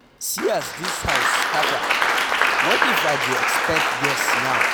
See as dis house scatter, what if I dey expect guest now